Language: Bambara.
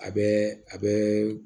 A bɛ a bɛ